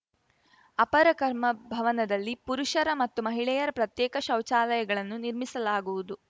ಅಪರಕರ್ಮ ಭವನದಲ್ಲಿ ಪುರುಷರ ಮತ್ತು ಮಹಿಳೆಯರ ಪ್ರತ್ಯೇಕ ಶೌಚಾಲಯಗಳನ್ನು ನಿರ್ಮಿಸಲಾಗುವುದು